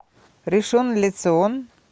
ришон ле цион